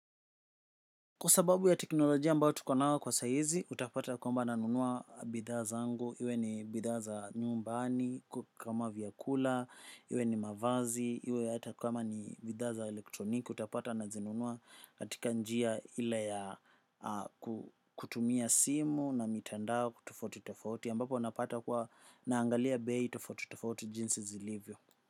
Kwa sababu ya teknolojia ambayo tuko nayo kwa saa hizi utapata kwamba nanua bidhaa zangu iwe ni bidhaa za nyumbani kama vyakula, iwe ni mavazi, iwe hata vifaa vya elektroniki utapata na nunua. Katika njia ile ya kutumia simu ama mitandao tofauti tofauti ambapo unapata kuwa naangalia bei tofauti tofauti vile zilivyo.